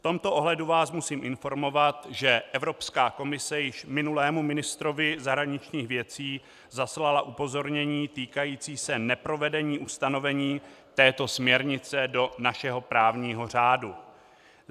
V tomto ohledu vás musím informovat, že Evropská komise již minulému ministrovi zahraničních věcí zaslala upozornění týkající se neprovedení ustanovení této směrnice do našeho právního řádu.